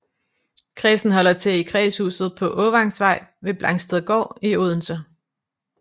Kredsen holder til i kredshuset på Åvangsvej ved Blangstedgård i Odense